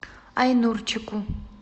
айнурчику